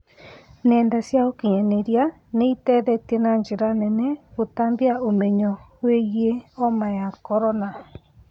Nenda cia ũkinyanĩria nĩ iteithĩtie na njĩra nene gũtambia ũmenyo wĩgiĩ homa ya korona